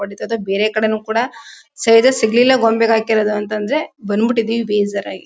ತೊಗೋತಿದ್ದ ಬೇರೆ ಕಡೆನು ಕೂಡ ಸರಿಯಾಗ್ ಸಿಗ್ಲಿಲ್ಲ. ಗೊಂಬೆಗ್ ಹಾಕಿರದು ಅಂತ ಅಂದ್ರೆ ಬಂದ್ಬಿಟ್ ಇದೀವಿ ಬೇಜಾರಾಗಿ.